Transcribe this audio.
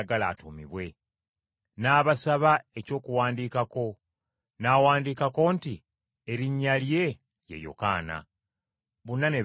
N’abasaba eky’okuwandiikako, n’awandiikako nti, “Erinnya lye ye Yokaana!” Bonna ne beewuunya nnyo!